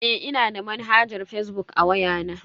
Eh, ina da manhajar fazbuk a waya na.